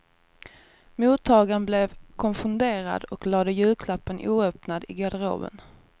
Mottagaren blev konfunderad och lade julklappen oöppnad i garderoben.